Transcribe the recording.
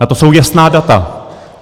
Na to jsou jasná data.